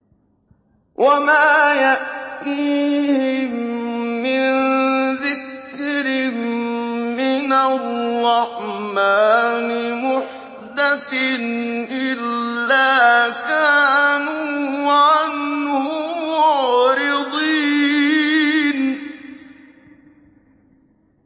وَمَا يَأْتِيهِم مِّن ذِكْرٍ مِّنَ الرَّحْمَٰنِ مُحْدَثٍ إِلَّا كَانُوا عَنْهُ مُعْرِضِينَ